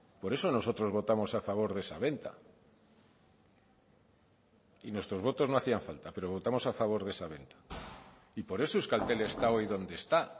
por eso nosotros votamos a favor de esa venta y nuestros votos no hacían falta pero votamos a favor de esa venta y por eso euskaltel está hoy donde está